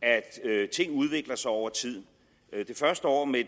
at ting udvikler sig over tid det første år med